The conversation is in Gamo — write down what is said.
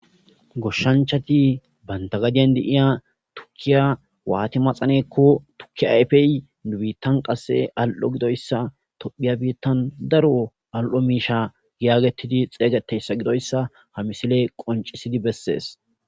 Goshshanchati banta gadiyan deiya tukkiya waati maxaneekko tukkiya ayfey dubiittan qasse al'o gidoyssa tophiya biittan daro al'o miisha giyaagettidi xeeygeteyssa gidoyssa ha misile qoncisidi bessees.